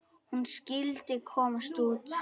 Hún skyldi komast út!